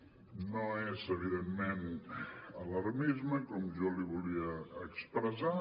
no és evidentment alarmisme com jo li volia expressar